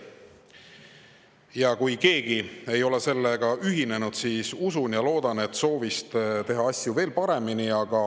Ja kui keegi ei ole sellega veel ühinenud, siis usun ja loodan ma, et see on soovist teha asju veel paremini.